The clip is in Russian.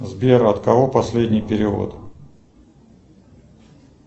сбер от кого последний перевод